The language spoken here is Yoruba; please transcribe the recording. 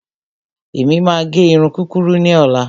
Èmi máa gẹ irun kúkurú ní ọ̀la.